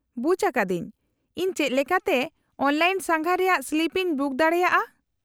-ᱵᱩᱡ ᱟᱠᱟᱫᱟᱹᱧ ! ᱤᱧ ᱪᱮᱫ ᱞᱮᱠᱟᱛᱮ ᱚᱱᱞᱟᱭᱤᱱ ᱥᱟᱸᱜᱷᱟᱨ ᱨᱮᱭᱟᱜ ᱥᱞᱤᱯ ᱤᱧ ᱵᱩᱠ ᱫᱟᱲᱮᱭᱟᱜᱼᱟ ?